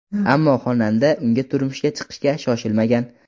Ammo xonanda unga turmushga chiqishga shoshilmagan.